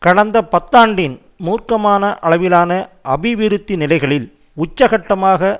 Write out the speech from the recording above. கடந்த பத்தாண்டின் மூர்க்கமான அளவிலான அபிருவித்தி நிலைகளில் உச்சக்கட்டமாக